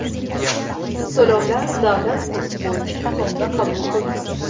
To‘lovlar davlat kursi bo‘yicha so‘mda qabul qilinadi.